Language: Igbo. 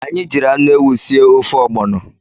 Anyị jiri anụ ewu sie ofe ọgbọnọ.